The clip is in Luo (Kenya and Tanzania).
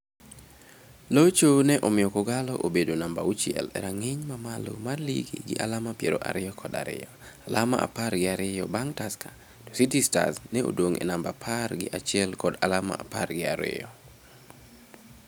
Locho ne omiyo K'Ogalo obedo namba auchiel e rang'iny ma malo mar lig gi alama piero ariyo kod ariyo, alama apar gi ariyo bang' Tusker to City Stars ne odong' e namba apar gi achiel kod alama apar gi abiriyo.